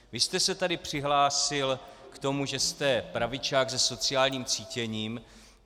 Vy jste se tady přihlásil k tomu, že jste pravičák se sociálním cítěním.